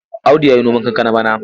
Audu ya yi noman kankana bana.